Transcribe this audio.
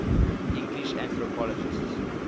english anthropologists